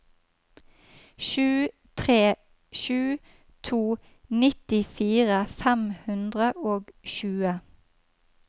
sju tre sju to nittifire fem hundre og tjue